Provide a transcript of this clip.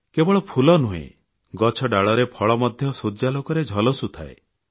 କେବଳ ଫୁଲ ନୁହେଁ ଗଛଡାଳରେ ଫଳ ମଧ୍ୟ ସୂର୍ଯ୍ୟାଲୋକରେ ଝଲସୁଥାଏ